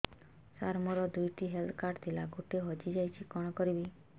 ସାର ମୋର ଦୁଇ ଟି ହେଲ୍ଥ କାର୍ଡ ଥିଲା ଗୋଟେ ହଜିଯାଇଛି କଣ କରିବି